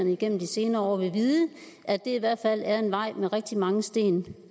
igennem de senere år vil vide at det i hvert fald er en vej med rigtig mange sten